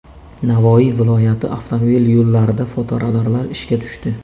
Navoiy viloyati avtomobil yo‘llarida fotoradarlar ishga tushdi.